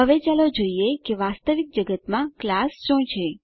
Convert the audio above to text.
હવે ચાલો જોઈએ વાસ્તવિક જગતમાં ક્લાસ શું છે